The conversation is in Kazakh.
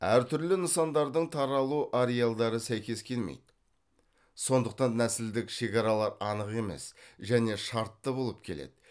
әр түрлі нысандардың таралу ареалдары сәйкес келмейді сондықтан нәсілдік шекаралар анық емес және шартты болып келеді